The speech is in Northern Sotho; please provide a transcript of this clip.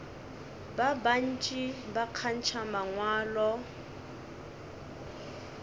ba bantši ba kgantšha mangwalo